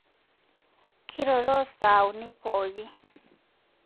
Kiroro sai uni pooki